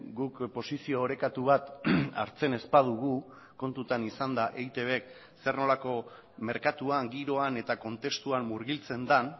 guk posizio orekatu bat hartzen ez badugu kontutan izanda eitbk zer nolako merkatuan giroan eta kontestuan murgiltzen den